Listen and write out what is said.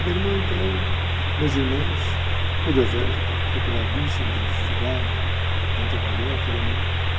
A minha irmã, então, minhas irmãs, todas elas preparadíssimas, estudaram, estão trabalhando.